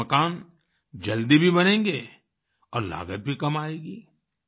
इससे मकान जल्दी भी बनेंगे और लागत भी कम आएगी